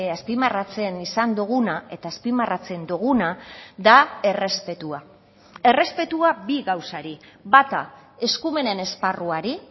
azpimarratzen izan duguna eta azpimarratzen duguna da errespetua errespetua bi gauzari bata eskumenen esparruari